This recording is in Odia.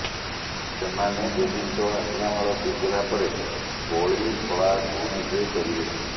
ସେମାନେ ଦେବୀଙ୍କ ଆଜ୍ଞାମାଳ ପିନ୍ଧିଲା ପରେ ବଳିଖଳାକୁ ବିଜେ କରିବେ